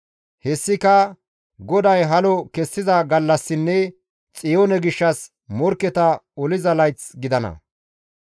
Hessika GODAY halo kessiza gallassinne Xiyoone gishshas morkketa oliza layth gidana.